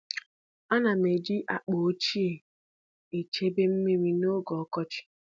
Ana m eji akpa ochie echebe mmiri n’oge ọkọchị.